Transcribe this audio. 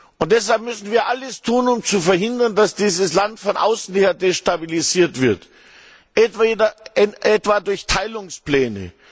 Und deshalb müssen wir alles tun, um zu verhindern, dass dieses Land von außen her destabilisiert wird, etwa durch Teilungspläne.